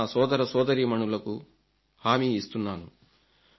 నా రైతు సోదరసోదరీమణులకు హామీ ఇస్తున్నాను